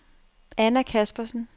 Anna Kaspersen